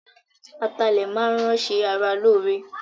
Ata ilẹ máa ń ran ṣe ara lóore.